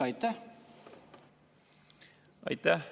Aitäh!